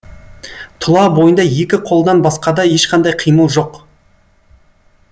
тұла бойында екі қолдан басқада ешқандай қимыл жоқ